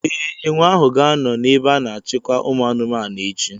Ee, enwe ahụ ga-anọ n'ebe a na-achịkwa ụmụ anụmanụ echi.